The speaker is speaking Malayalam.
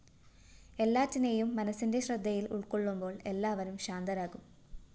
എല്ലാറ്റിനെയും മനസ്സിന്റെ ശ്രദ്ധയില്‍ ഉള്‍ക്കൊള്ളുമ്പോള്‍ എല്ലാവരും ശാന്തരാകും